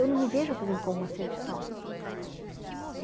Eu não me vejo, por exemplo, como uma serviçal.